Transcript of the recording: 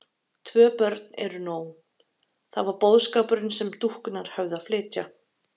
Tvö börn eru nóg: það var boðskapurinn sem dúkkurnar höfðu að flytja.